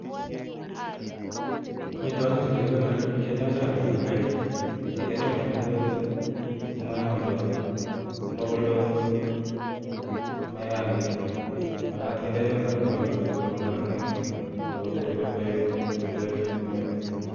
Amitwogik chu kekonori kendoi choge ole kaitit. Nginde choge amitwogik chu komayamdos, mabuldos, amayaagitu, makat kinde choge amitwogik chu asigo kararanitu akotebi kot koek keny kot koek missing kokeny